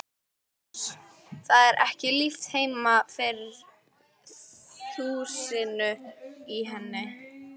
Uss, það er ekki líft heima fyrir þusinu í henni.